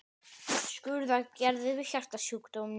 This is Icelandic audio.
Skurðaðgerðir við hjartasjúkdómum.